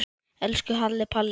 Elsku Halli Palli.